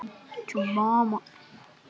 Elsku litli, stóri bróðir minn.